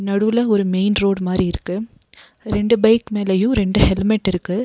நடுல ஒரு main road மாரி இருக்கு ரெண்டு பைக் மேலயு ரெண்டு ஹெல்மெட் இருக்கு.